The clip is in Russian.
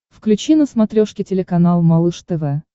включи на смотрешке телеканал малыш тв